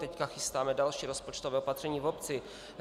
Teď chystáme další rozpočtové opatření v obci.